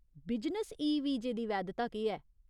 Business e वीजे दी वैधता केह् ऐ ?